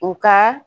U ka